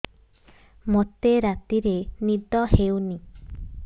ମୋତେ ରାତିରେ ନିଦ ହେଉନି